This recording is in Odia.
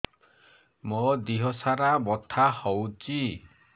ମୋ ଦିହସାରା ବଥା ହଉଚି